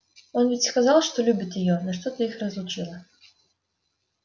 он ведь сказал что любит её но что-то их разлучило